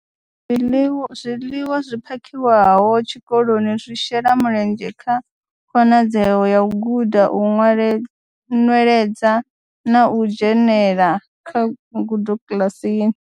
Zwiḽiwa zwi phakhiwaho tshikoloni zwi shela mulenzhe kha khonadzeo ya u guda, u nweledza na u dzhenela kha u guda kiḽasini.